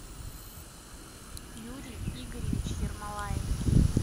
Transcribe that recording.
юрий игоревич ермолаев